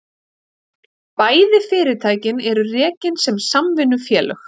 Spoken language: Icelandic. Bæði fyrirtækin eru rekin sem samvinnufélög